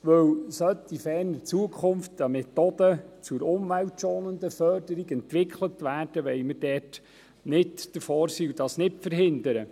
Sollte in ferner Zukunft Methoden zur umweltschonenden Förderung entwickelt werden, wollen wir nicht davorstehen und dies verhindern.